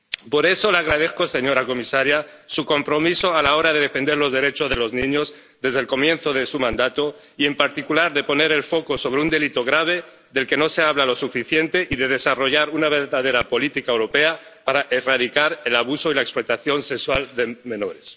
Por eso le agradezco, señora comisaria, su compromiso a la hora de defender los derechos de los niños desde el comienzo de su mandato y, en particular, de poner el foco sobre un delito grave del que no se habla lo suficiente, y de desarrollar una verdadera política europea para erradicar el abuso y la explotación sexual de menores.